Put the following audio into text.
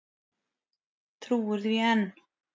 Trúir því enn.